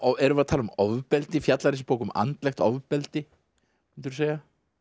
erum við að tala um ofbeldi fjallar þessi bók um andlegt ofbeldi myndirðu segja